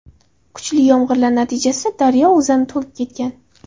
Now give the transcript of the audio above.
Kuchli yomg‘irlar natijasida daryo o‘zani to‘lib ketgan.